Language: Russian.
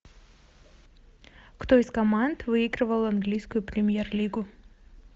кто из команд выигрывал английскую премьер лигу